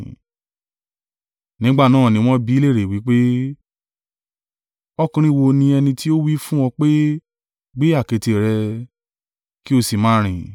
Nígbà náà ni wọ́n bi í lérè wí pé, “Ọkùnrin wo ni ẹni tí ó wí fún ọ pé gbé àkéte rẹ, kí o sì máa rìn?”